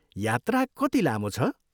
यात्रा कति लामो छ?